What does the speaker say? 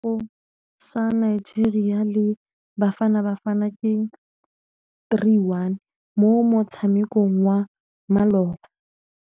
Sekôrô sa Nigeria le Bafanabafana ke 3-1 mo motshamekong wa malôba.